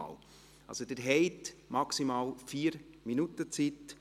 Also: Sie haben maximal 4 Minuten Zeit.